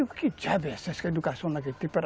Eu digo, que diabos é essa educação naquele tempo?